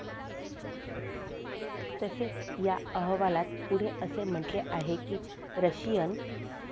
तसेच या अहवालात पुढे असे म्हणले आहे की, रशियन